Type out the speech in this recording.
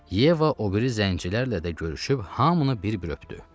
Yeva o biri zəncilərlə də görüşüb hamını bir-bir öpdü.